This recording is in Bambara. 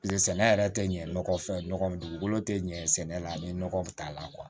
sɛnɛ yɛrɛ tɛ ɲɛ nɔgɔ fɛn nɔgɔman dugukolo tɛ ɲɛ sɛnɛ la ni nɔgɔ t'a la